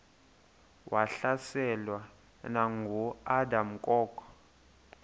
wahlaselwa nanguadam kok